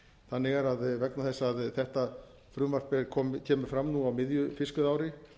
þannig er að vegna þess að þetta frumvarp kemur fram á miðju fiskveiðiári